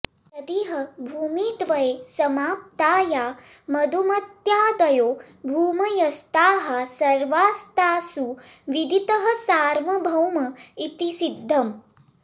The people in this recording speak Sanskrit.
तदिह भूमिद्वये समाप्ता या मधुमत्यादयो भूमयस्ताः सर्वास्तासु विदितः सार्वभौम इति सिद्धम्